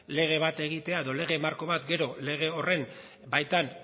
lege bat egitea edo lege marko bat gero lege horren baitan